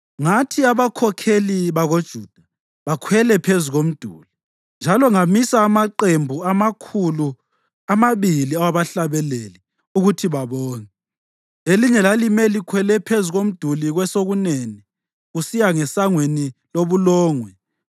Ngathi abakhokheli bakoJuda bakhwele phezu komduli. Njalo ngamisa amaqembu amakhulu amabili awabahlabeleli ukuthi babonge. Elinye lalimele likhwele phezulu komduli kwesokunene, kusiya ngesangweni loBulongwe.